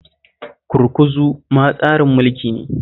Gurguzu ma tsarin mulki ne